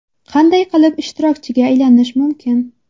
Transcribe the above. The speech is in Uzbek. Qanday qilib ishtirokchiga aylanish mumkin?